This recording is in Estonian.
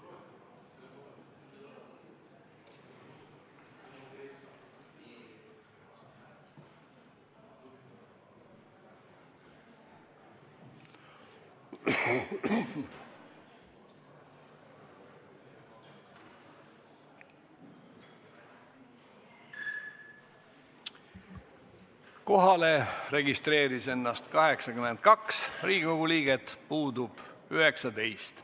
Kohaloleku kontroll Kohalolijaks registreeris ennast 82 Riigikogu liiget, puudub 19.